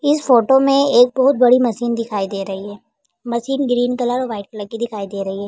इस फोटो मे एक बोहोत बड़ी मशीन दिखाई दे रही है। मशीन ग्रीन कलर और व्हाइट कलर की दिखाई दे रही है।